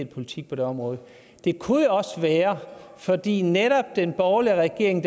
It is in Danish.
politik på det område det kunne jo også være fordi netop den borgerlige regering